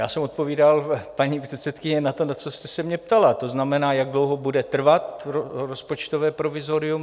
Já jsem odpovídal, paní předsedkyně, na to, na co jste se mě ptala, to znamená, jak dlouho bude trvat rozpočtové provizorium.